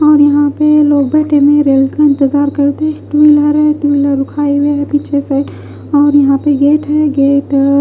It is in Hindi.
और यहाँ पे लोग बैठे हुए हैं रेल का इंतजार करते टू व्हीलर हैं टू व्हीलर में हुई पीछे से और यहाँ पर गेट हैं गेट --